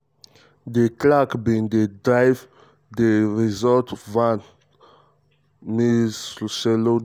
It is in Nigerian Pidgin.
di clerk bin dey drive di renault van gen van gen masemola tok.